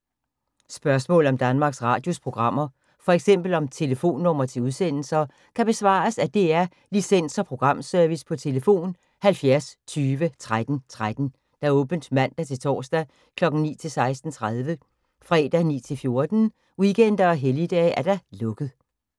Spørgsmål om Danmarks Radios programmer, f.eks. om telefonnumre til udsendelser, kan besvares af DR Licens- og Programservice: tlf. 70 20 13 13, åbent mandag-torsdag 9.00-16.30, fredag 9.00-14.00, weekender og helligdage: lukket.